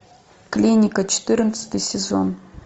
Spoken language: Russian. клиника четырнадцатый сезон